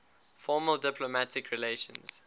formal diplomatic relations